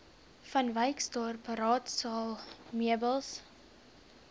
vanwyksdorp raadsaal meubels